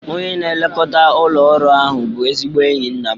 Onye na-elekọta ụlọ ọrụ ahu bụ ezigbo enyi nna m.